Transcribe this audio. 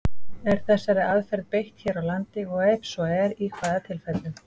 Er þessari aðferð beitt hér á landi, og ef svo er, í hvaða tilfellum?